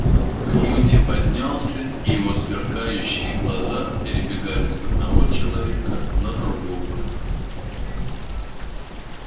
кьюти поднялся и его сверкающие глаза перебегали с одного человека на другого